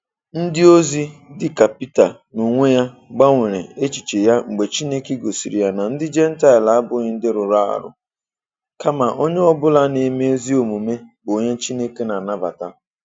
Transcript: Ndịozi dị ka Pita n’onwe ya gbanwere echiche ya mgbe Chineke gosiri ya na ndị Jentaịl abụghị ndị rụrụ arụ, kama onye ọ bụla na-eme ezi omume bụ onye Chineke na-anabata.